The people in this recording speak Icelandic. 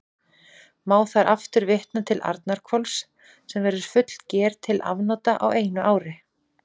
Má þar aftur vitna til Arnarhvols, sem verður fullger til afnota á einu ári.